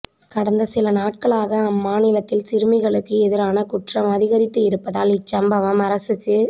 கடந்த சில நாட்களாக அம்மாநிலத்தில் சிறுமிகளுக்கு எதிரான குற்றம் அதிகரித்து இருப்பதால் இச்சம்பவம் அரசுக்கு